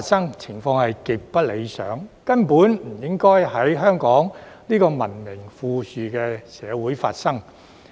這種情況極不理想，根本不應該在香港這個文明富裕社會發生。